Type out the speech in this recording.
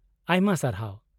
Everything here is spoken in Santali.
-ᱟᱭᱢᱟ ᱥᱟᱨᱦᱟᱣ ᱾